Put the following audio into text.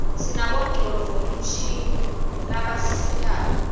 sinabonqconduo mshini zabasistako